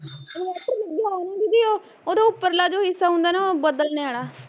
ਇੰਨਵਾਟਰ ਲੱਗਿਆ ਵਾਂ ਨੀ ਦੀਦੀ ਉਹ ਉਹਦੇ ਉੱਪਰ ਆਲਾ ਜੋ ਹਿੱਸਾ ਹੁੰਦਾ ਨਾ ਉਹ ਬਦਲਣੇ ਆਲਾ